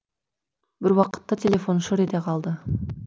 бір уақытта телефон шыр ете қалды